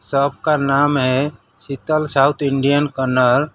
Shop का नाम है शीतल साउथ इंडियन कॉर्नर ।